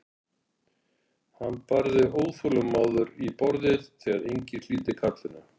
Hann barði óþolinmóður í borðið þegar enginn hlýddi kallinu.